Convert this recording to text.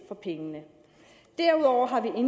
for pengene derudover har vi